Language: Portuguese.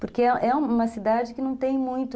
Porque é uma cidade que não tem muito...